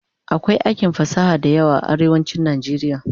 akwai aikin fasaha da yawa a arewacin nijeriya